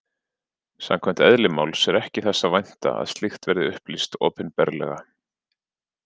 Samkvæmt eðli máls er ekki þess að vænta að slíkt verði upplýst opinberlega.